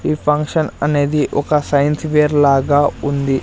ఈ ఫంక్షన్ అనేది ఒక సైన్స్వేర్ లాగా ఉంది.